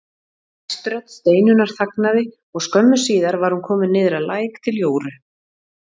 Æst rödd Steinunnar þagnaði og skömmu síðar var hún komin niður að læk til Jóru.